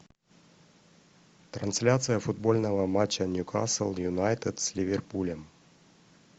трансляция футбольного матча ньюкасл юнайтед с ливерпулем